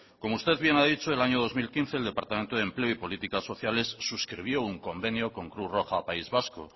como usted bien ha dicho en el año dos mil quince el departamento de empleo y políticas socialistas suscribió un convenio con cruz roja país vasco